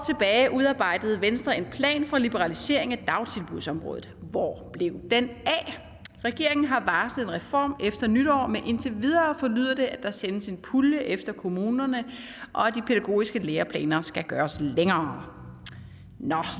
udarbejdede venstre en plan for liberalisering af dagtilbudsområdet hvor blev den af regeringen har varslet en reform efter nytår men indtil videre forlyder det at der sendes en pulje efter kommunerne og at de pædagogiske læreplaner skal gøres længere nå